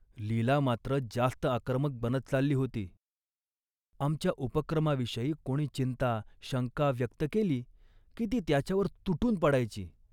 लीला मात्र जास्त आक्रमक बनत चालली होती. आमच्या उपक्रमाविषयी कोणी चिंता, शंका व्यक्त केली की ती त्याच्यावर तुटून पडायची